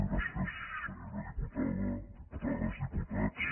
gràcies senyora diputada diputades diputats